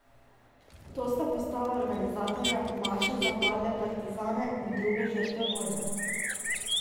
To sta postala organizatorja maše za padle partizane in druge žrtve vojne.